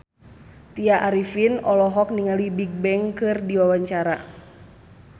Tya Arifin olohok ningali Bigbang keur diwawancara